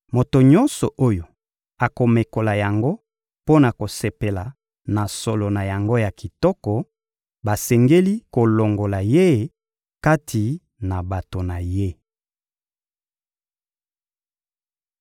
Moto nyonso oyo akomekola yango mpo na kosepela na solo na yango ya kitoko, basengeli kolongola ye kati na bato na ye.